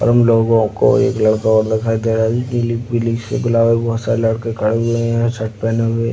उन लोगो को एक लड़का और दिखाई दे रहा है जो नीली पीली सी गुलाबो बहुत सारे लड़के खड़े हुए हैं शर्ट पहने हुए --